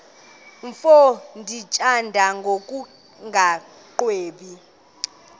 mfo ndimthanda ngokungagwebi